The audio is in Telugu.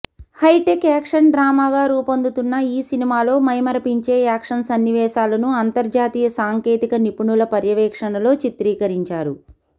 హైటెక్ యాక్షన్ డ్రామాగా రూపొందుతున్న ఈ సినిమాలో మైమరపించే యాక్షన్ సన్నివేశాలను అంతర్జాతీయ సాంకేతిక నిపుణుల పర్యవేక్షణలో చిత్రీకరించారు